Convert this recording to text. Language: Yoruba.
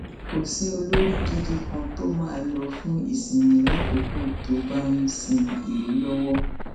kò sí olórí gidi kan tó máa lò fún ìsinmi lákòókò tó bá ń sin ìlú lọwọ